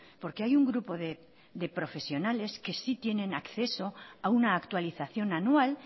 porque hay un grupo de profesionales que sí tienen acceso a una actualización anual